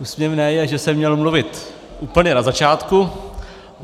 Úsměvné je, že jsem měl mluvit úplně na začátku.